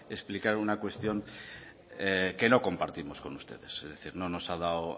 explicar una cuestión que no compartimos con ustedes es decir no nos ha dado